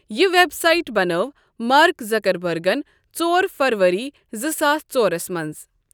یہِ website بَنٲو Mark زَکَربَرگن ژور فَروری زٕساس ژورس مَنٛز۔